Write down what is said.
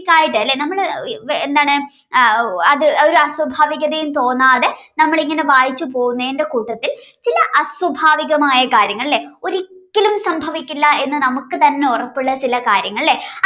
ആയിട്ടു അല്ലേ നമ്മൾ എന്താണ് അത് ഒരു ആസ്വാഭാവികതയും തോന്നാതെ നമ്മൾ ഇങ്ങനെ വായിച്ചു പോകുന്നതിന്റെ കൂട്ടത്തിൽ ചില അസ്വഭാവികമായ കാര്യങ്ങൾ അല്ലേ ഒരിക്കലും സംഭവിക്കില്ല എന്ന് നമുക്ക് തന്നെ ഉറപ്പുള്ള ചില കാര്യങ്ങളല്ലേ